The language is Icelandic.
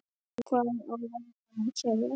Hvað á norður að segja?